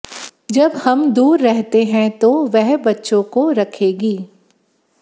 जब हम दूर रहते हैं तो वह बच्चों को रखेगी